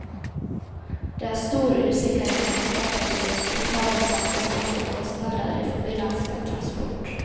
Det er stor usikkerhet knyttet til de totale samfunnsmessige kostnader i forbindelse med transport.